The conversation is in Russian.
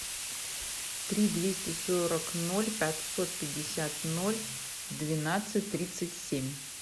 три двести сорок ноль пятьсот пятьдесят ноль двенадцать тридцать семь